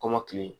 Kɔmɔkili